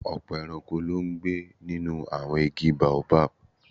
Ọ̀pọ̀ ẹranko ló ń gbé nínú àwọn igi Baobab